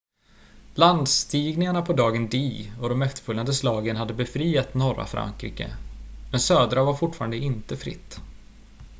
landstigningarna på dagen d och de efterföljande slagen hade befriat norra frankrike men södra var fortfarande inte fritt